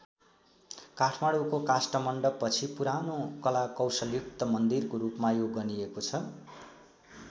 काठमाडौँको काष्ठमण्डपपछि पुरानो कला कौशलयुक्त मन्दिरको रूपमा यो गनिएको छ।